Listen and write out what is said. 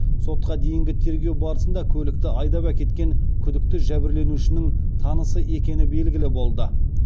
сотқа дейінгі тергеу барысында көлікті айдап әкеткен күдікті жәбірленушінің танысы екені белгілі болды